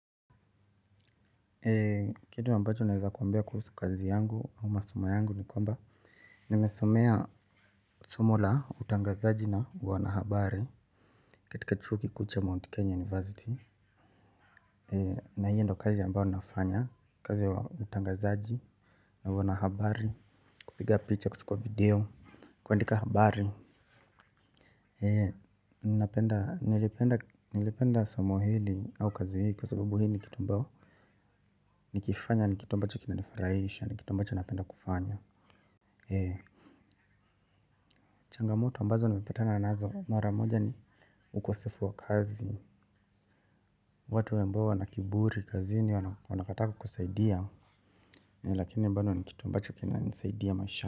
Kitu ambacho naweza kuambia kuhusu kazi yangu na masomo yangu ni kwamba nimesomea somo la utangazaji na wanahabari katika chuo kikuu cha Mount Kenya University Na hiyo ndio kazi ambao nafanya kazi wa utangazaji na wanahabari kupiga picha kuchukua video kuandika habari. Nilipenda somo hili au kazi hii kwa sababu hii nikitu ambao nikifanya nikitu ambacho kinani furahisha nikitu ambacho napenda kufanya. Changamoto ambazo nimepetana nazo mara moja ni ukosefu wa kazi. Watu ya ambao wanakiburi kazini wanakata kukusaidia lakini ambano nikitu ambacho kina nisaidia maishani.